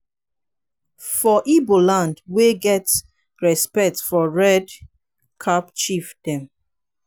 for ibo land we dey get respects for red cap chief dem.